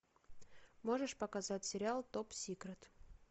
можешь показать сериал топ сикрет